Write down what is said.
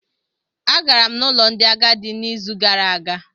Agara m n'ụlọ ndị agadi n'izu gara aga